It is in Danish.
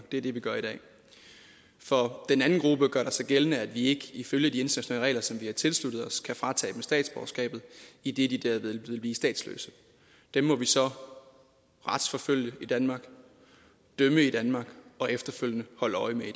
det er det vi gør i dag for den anden gruppe gør der sig gældende at vi ikke ifølge de internationale regler som vi har tilsluttet os kan fratage dem statsborgerskabet idet de derved ville blive statsløse dem må vi så retsforfølge i danmark dømme i danmark og efterfølgende holde øje med i